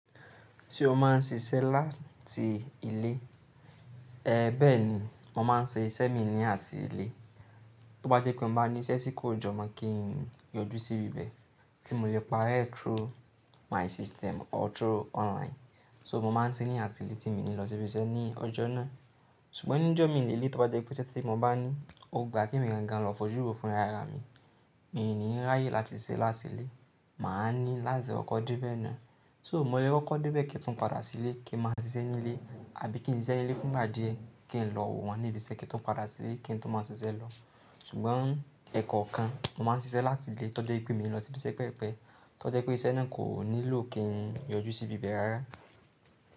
Se o máa ń ṣiṣẹ́ láti ilé, ẹé bẹ́ẹ̀ ni mo máa ń ṣe iṣẹ́ mi ní àti ilé. Tó bá jẹ́ pé mo bá ní iṣẹ́ tí kò jọmọ́ kí n yọjú sí ibi bẹ́ẹ̀ tí mo lè pari ẹ́ through my system or through online. So mo máa ń ṣe ní àti ilé tí mio ní lọ sí ibi iṣẹ́ ní ọjọ́ náà. Ṣùgbọ́n ní ọjọ́ mi lèlé tó bá jẹ́ pé iṣẹ́ tí mo bá ní ó gbà kí emi gangan lọ fojú wo fún r'ará mi, mi ò ní ráyè láti ṣẹ́ láti ilé. Mà á ní láti ọkọ̀ dé bẹ́ẹ̀ ná. So mo lè wọ ọkọ̀ dé bẹ́ẹ̀ kí n tó padà sí ilé kí n máa ṣiṣẹ́ ní ilé, àbí kí n ṣiṣẹ́ ní ilé fún ìgbà díẹ̀ kí n lọ wọ́n níbi iṣẹ́ kí n tó padà sí ilé kí n tó máa ṣiṣẹ́ lọ. Ṣùgbọ́n ẹ̀kọ̀ kan mo máa ń ṣiṣẹ́ láti ilé tó jẹ́ pé kí mo lọ sí ibi iṣẹ́ pẹpẹ, tó jẹ́ pé iṣẹ́ náà kò nílò kí n yọjú sí ibi bẹ́ẹ̀ rárá.